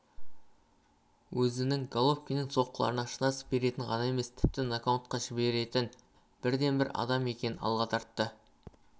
өзінің головкиннің соққыларына шыдас беретін ғана емес тіпті нокаутқа жіберетін бірден-бір адам екенін алға тартты